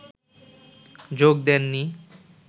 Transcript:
যোগ দেন নি